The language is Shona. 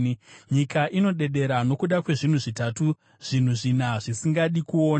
“Nyika inodedera nokuda kwezvinhu zvitatu, zvinhu zvina zvaisingadi kuona: